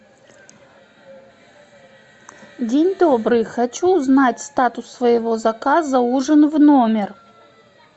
день добрый хочу узнать статус своего заказа ужин в номер